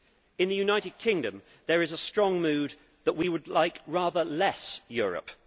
In the United Kingdom there is a strong mood that we would like rather less Europe.